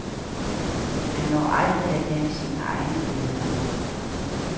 Man når aldrig at danne sine egne billeder.